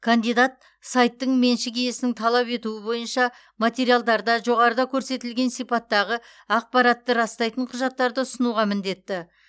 кандидат сайттың меншік иесінің талап етуі бойынша материалдарда жоғарыда көрсетілген сипаттағы ақпаратты растайтын құжаттарды ұсынуға міндетті